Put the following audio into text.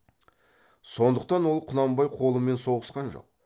сондықтан ол құнанбай қолымен соғысқан жоқ